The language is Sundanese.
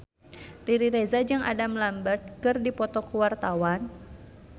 Riri Reza jeung Adam Lambert keur dipoto ku wartawan